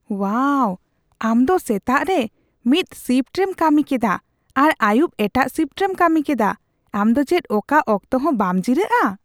ᱳᱣᱟᱣ ! ᱟᱢ ᱫᱚ ᱥᱮᱛᱟᱜ ᱨᱮ ᱢᱤᱫ ᱥᱤᱯᱷᱴ ᱨᱮᱢ ᱠᱟᱹᱢᱤ ᱠᱮᱫᱟ ᱟᱨ ᱟᱹᱭᱩᱵ ᱮᱴᱟᱜ ᱥᱤᱯᱷᱴ ᱨᱮᱢ ᱠᱟᱹᱢᱤ ᱠᱮᱫᱟ ! ᱟᱢ ᱫᱚ ᱪᱮᱫ ᱚᱠᱟ ᱚᱠᱛᱚᱦᱚᱸ ᱵᱟᱢ ᱡᱤᱨᱟᱹᱜᱼᱟ ?